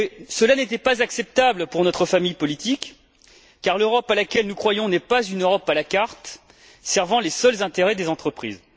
Cela n'était pas acceptable pour notre famille politique car l'Europe à laquelle nous croyons n'est pas une Europe à la carte servant les seuls intérêts des entreprises.